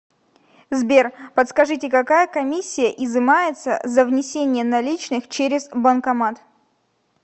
сбер подскажите какая комиссия изымается за внесение наличных через банкомат